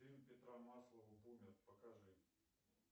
фильм петра маслова бумер покажи